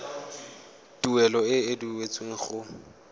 tuelo e e duetsweng go